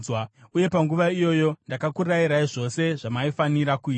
Uye panguva iyoyo ndakakurayirai zvose zvamaifanira kuita.